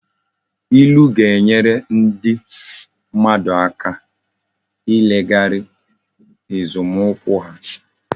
Ilu ga-enyere ndi mmadu aka ileghara nzomukwu ha